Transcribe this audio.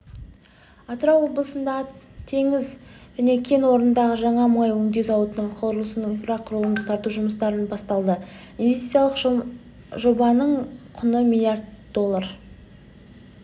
атырау облысындағы теңіз кен орнында жаңа мұнай өңдеу зауытының құрылысына инфрақұрылым тарту жұмыстары басталды инвестициялық жобаның құны миллиард доллар